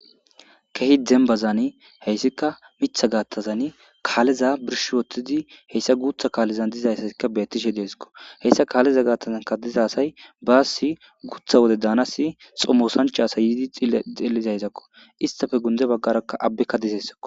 kehi dembazani heyssika mitha gaathazan kaaleza birsh wottidi heyssa guutha kaalezan dizayssasikka bettishe deesikko heyssa kaaleza gaattazanka diza say baasi guutha wode daanasi xommosancha asay yiidi xelizayzakko istafe gunde baggaraka abbekka deessako